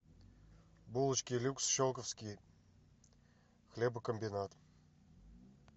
булочки люкс щелковский хлебокомбинат